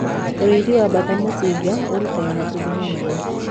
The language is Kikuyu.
utiithi wa bata mucinga uraruta matumbi manene